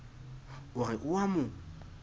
o re o a mo